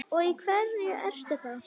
Og í hverju ertu þá?